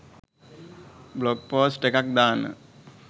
blog post එකක් දාන්න